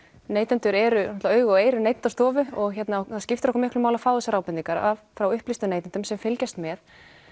neytendur eru augu og eyru Neytendastofu og það skiptir okkur miklu máli að fá þessar ábendingar frá upplýstum neytendum sem fylgjast með